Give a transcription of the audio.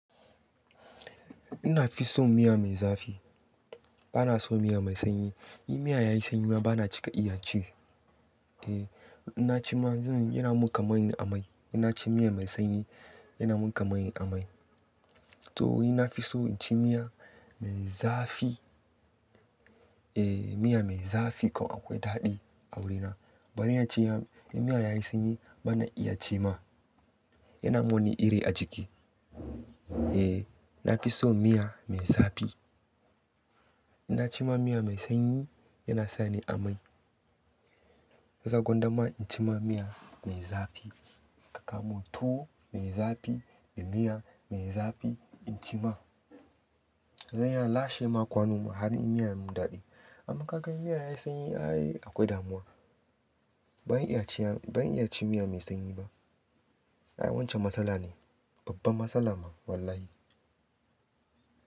Ina fi son miya mai zafi. Bana son miya mai sanyi. In miya yayi sanyi bana cika iya ci. Eh, in na ci ma yanzu yana min kamar in amai. In na ci miya mai sanyi yana min kamar in amai. To ni na fi so in ci miya mai zafi. Eh, miya mai zafi ko akwai daɗi a wurina. Bari na ci ya, in miya yayi sanyi bana iya ci ma. Yana min wani iri a ciki. Eh, na fi so miya mai zafi. In na ci ma miya mai sanyi yana sa ni amai. Zai gwandama in ci ma miya mai zafi, ka kawo mun tuwo mai zafi da miya mai zafi in ci ma. Zai iya lashe ma kwano ma har in miyan mun daɗe. Amma ka gan miya yayi sanyi akwai damuwa ban iya ci ya, ban iya ci miya mai sanyi ba. A'a wancan matsala ne, babban matsala ma wallahi.